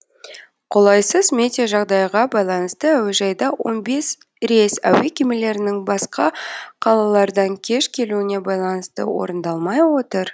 қолайсыз метеожағдайға байланысты әуежайда он бес рейс әуе кемелерінің басқа қалалардан кеш келуіне байланысты орындалмай отыр